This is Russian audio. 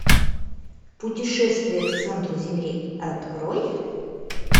путешествие к центру земли открой